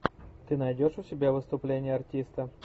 ты найдешь у себя выступление артиста